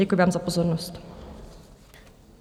Děkuji vám za pozornost.